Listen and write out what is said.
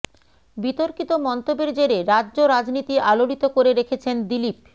বিতর্কিত মন্তব্যের জেরে রাজ্য রাজনীতি আলোড়িত করে রেখেছেন দিলীপ